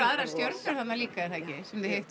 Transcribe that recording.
aðrar stjörnur þarna líka er það ekki sem þið hittuð